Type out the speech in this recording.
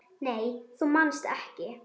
Nei þú manst ekki.